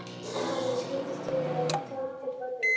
Maðurinn kipptist við og tók til fótanna.